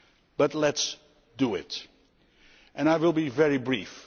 But let us do it! I will be very brief.